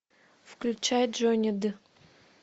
включай джонни д